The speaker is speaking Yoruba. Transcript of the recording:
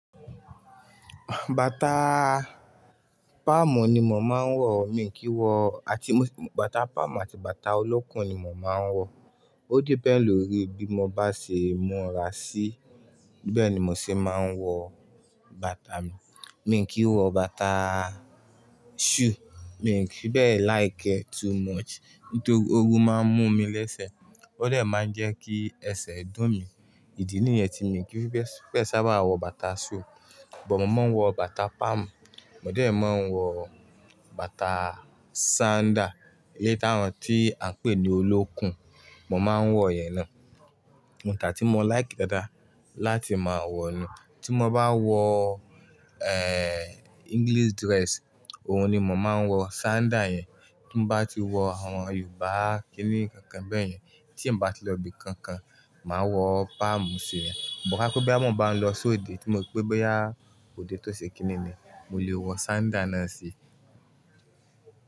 Bàtà palm ni mò máa ń wọ̀, mi kì í wọ, àti bàtà palm àti bàtà olókùn ni mò máa ń wọ̀. Ó depend lórí bí mo bá ṣe mùra sí, bẹ́ẹ̀ ni mò ṣe máa ń wọ bàtà mi. Mi kì í wọ bàtà shoe, mi fì í bẹ like e too much nítorí ooru máa ń mú mi lẹ́sẹ̀, ó dè máa ń jẹ́ kí ẹsẹ̀ dùn mí. Ìdí nìyẹn tí mi ki fi be sábà wọ bàtà shoe, but mo máa ń wọ bàtà palm, mò déè máa ń wọ bàtà sandal, ilé táa ni tí a ń pè ní olókùn, mò máa ń wọ yẹn ná. Bata tí mo like dáadáa láti máa wọ̀ nu, tí mo bá wọ, eh, English dress, òun ni mò máa ń wọ sandal yẹn. Tí mo bá ti wọ àwọn Yorùbá kíní kankan bẹ́yẹn, tí mo bá ti lọ ibi kankan, màá wọ palm sí yẹn. Ṣùgbọ́n pé bí àwọn bá ń lọ sóde, tí mo rí pé báyo òde tó ṣe kíní ni, mo lè wọ sandal náà sí.